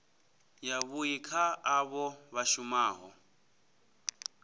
yavhui kha avho vha shumaho